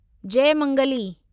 Jaymangali